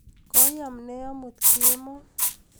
Kweam ne amut kemoi